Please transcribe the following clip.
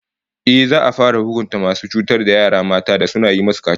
Ehh, za'a fara hukunta masu cutar da yara mata da suna yi musu kaciya